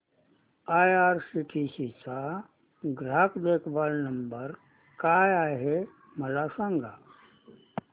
IRCTC चा ग्राहक देखभाल नंबर काय आहे मला सांग